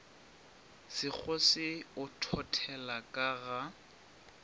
sekgose o thothela ka ga